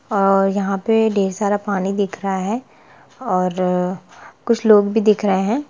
अहः यहाँ पे ढेर सारा पानी दिख रहा है और कुछ लोग भी दिख रहे है।